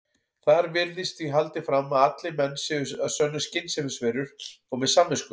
Þar virðist því haldið fram að allir menn séu að sönnu skynsemisverur og með samvisku.